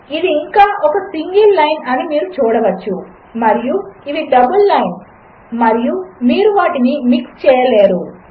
ఇదిఇంకాఒకసింగిల్లైన్అనిమీరుచూడవచ్చుమరియుఇవిడబల్లైన్స్మరియుమీరువాటినిమిక్స్చేయలేరు